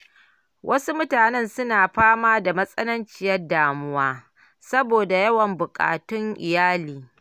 Wasu mutane suna fama da matsananciyar damuwa saboda yawan buƙatun iyali.